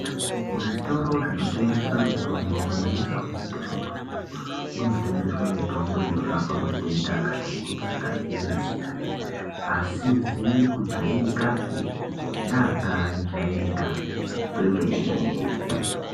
Muzvitoro zvinotengesa mitombo kunyanyisa mumadhorobha umwomwo kunotengeswa mitombo inorapa matenda akati kuti akasiyana-siyana, asizi kujairikapi naakajairika kwemene.